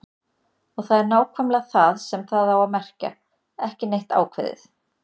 Og það er nákvæmlega það sem það á að merkja: ekki neitt ákveðið.